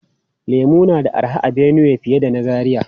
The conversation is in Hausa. Lemu na da arha a Benue fiye da na Zaria.